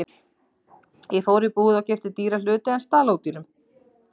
Ég fór í búð og keypti dýra hluti en stal ódýrum.